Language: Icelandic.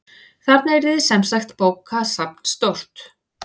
Þarna yrði semsagt bókasafn stórt.